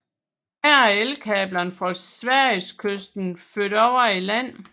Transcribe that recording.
Her er elkablerne fra Sverigeskysten overfor ført i land